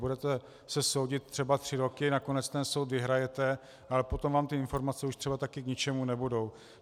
Budete se soudit třeba tři roky, nakonec ten soud vyhrajete, ale potom vám ty informace už třeba taky k ničemu nebudou.